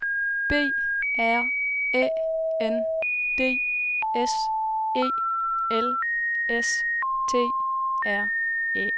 B R Æ N D S E L S T R Æ